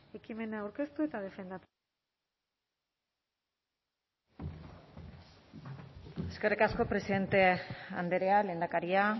ekimena aurkeztu eta defendatzeko eskerrik asko presidente andrea lehendakaria